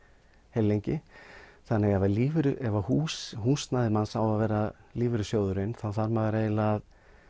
heillengi þannig ef ef húsnæðið húsnæðið manns á að vera lífeyrissjóðurinn þá þarf maður eiginlega að